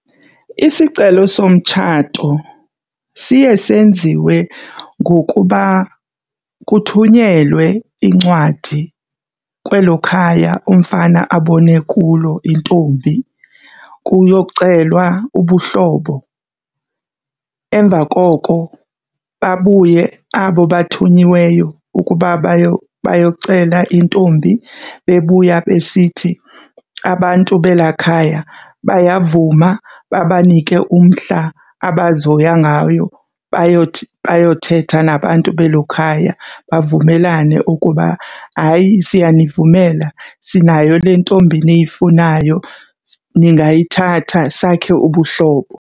Isicelo somtshato siye senziwe ngokuba kuthunyelwe incwadi kwelo khaya umfana abone kulo intombi kuyocelwa ubuhlobo. Emva koko babuye abo bathunyiweyo ukuba bayocela intombi bebuya besithi abantu belaa khaya bayavuma, babanike umhla abazohoya ngayo bayothetha nabantu belo khaya. Bavumelane ukuba hayi, siyanivumela sinayo le ntombi niyifunayo, ningayithatha sakhe ubuhlobo.